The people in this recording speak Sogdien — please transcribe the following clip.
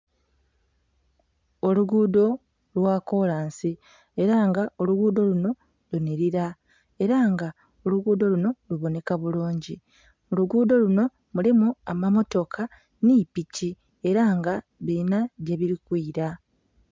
Oluguudo lwa kolansi ela nga oluguudo luno lunhilira ela nga oluguudo luno luboneka bulungi. Ku luguudo luno mulimu amammotoka nhi piki ela nga bilina gyebili kwila.